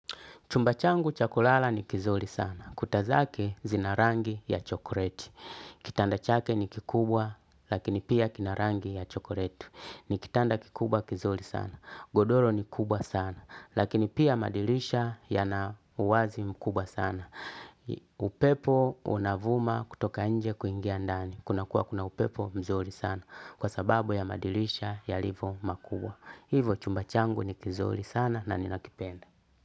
Chumba changu cha kulala ni kizuri sana. Kuta zake zina rangi ya chokoreti. Kitanda chake ni kikubwa lakini pia kina rangi ya chokoreti. Ni kitanda kikubwa kizuri sana. Godoro ni kubwa sana lakini pia madirisha yana uwazi mkubwa sana. Upepo unavuma kutoka nje kuingia ndani. Kunakuwa kuna upepo mzuri sana kwa sababu ya madirisha yalivyo makubwa. Hivo chumba changu ni kizuri sana na ninakipenda.